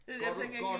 Ja jeg tænker ikke lige